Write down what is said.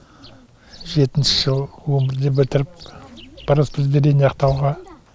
жетінші жыл он бірде бітіріп по распределению ақтауға